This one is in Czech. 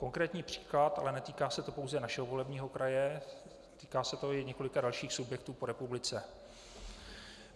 Konkrétní příklad - ale netýká se to pouze našeho volebního kraje, týká se to i několika dalších subjektů po republice.